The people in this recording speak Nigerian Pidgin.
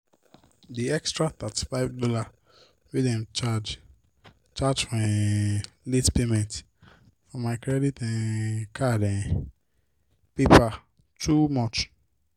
d extra $35 wey dem charge charge for um late payment for my credit um card um paper too much.